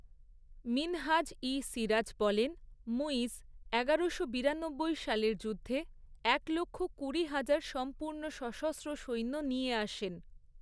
মিনহাজ ই সিরাজ বলেন, মুইজ এগারোশো বিরানব্বই সালের যুদ্ধে, একলক্ষ কুড়িহাজার সম্পূর্ণ সশস্ত্র সৈন্য নিয়ে আসেন।